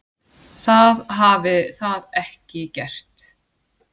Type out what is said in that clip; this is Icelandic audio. Það hafi það ekki gert.